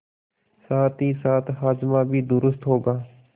साथहीसाथ हाजमा भी दुरूस्त होगा